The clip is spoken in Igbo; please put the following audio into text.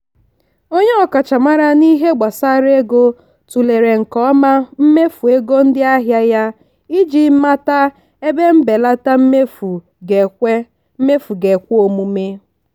onye ọkachamara n'ihe gbasara ego tụlere nke ọma mmefu ego ndị ahịa ya iji mata ebe mbelata mmefu ga-ekwe mmefu ga-ekwe omume.